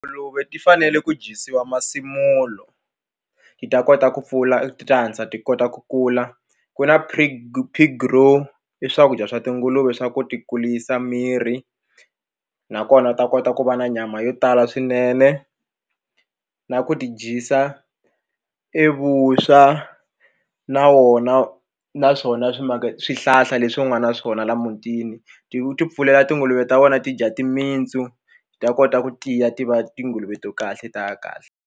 Tinguluve ti fanele ku dyisiwa masimulo ti ta kota ku pfula ti ta hatlisa ti kota ku kula ku na pig pig grow i swakudya swa tinguluve swa ku ti kurisa miri nakona u ta kota ku va na nyama yo tala swinene na ku ti dyisa i i vuswa na wona naswona swi maka swihlahla leswi u nga na swona laha mutini ti ti pfulela tinguluve ta wena ti dya timintsu ti ta kota ku tiya tiva tinguluve to kahle ta ya kahle.